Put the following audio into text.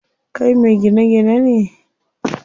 Kai me gine gine ne?